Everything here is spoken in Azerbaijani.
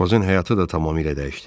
Aşpazın həyatı da tamamilə dəyişdi.